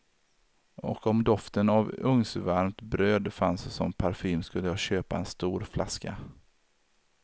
Och om doften av ugnsvarmt bröd fanns som parfym skulle jag köpa en stor flaska.